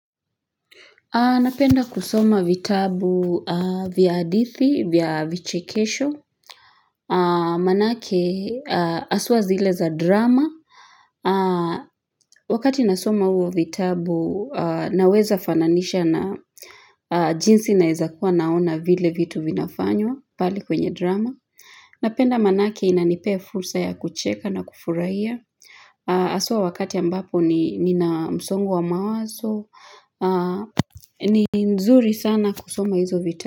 Napenda kusoma vitabu vya hadithi, vya vichekesho, maanake haswa zile za drama. Wakati nasoma huo vitabu, naweza fananisha na jinsi naeza kuwa naona vile vitu vinafanywa pali kwenye drama. Napenda maanake inanipea fursa ya kucheka na kufurahia. Haswa wakati ambapo nina msongo wa mawazo ni nzuri sana kusoma hizo vitabu.